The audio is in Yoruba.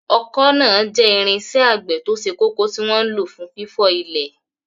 Ọkọ́ náà jẹ́ irinṣẹ́ àgbẹ̀ tó ṣe kókó tí wọ́n ń lò fún fífọ́ ilẹ̀.